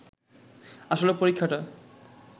আসলে পরীক্ষাটা